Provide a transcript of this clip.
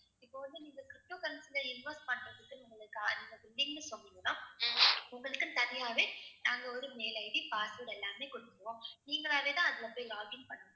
இப்போ வந்து நீங்க ptocurrency ல invest பண்றதுக்குன்னு உங்களுக்குன்னு தனியாவே நாங்க ஒரு mail ID password எல்லாமே கொடுத்துருவோம். நீங்களாவேதான் அதுல போய் login பண்ணணும்.